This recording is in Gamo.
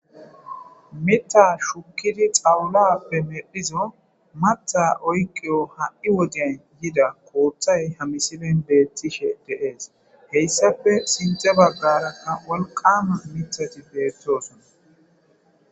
mitha shukkidi xawulappe medhizo matha oyqiyo ha7i woden yida kooththay ha misilen beettishe deees heyssafe sinte baggara ha wolqama mithati beettoosona